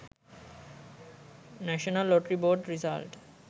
national lottery board result